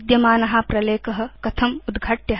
विद्यमान प्रलेख कथम् उद्घाटव्य